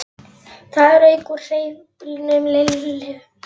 Það rauk úr hreyflinum Lillu megin.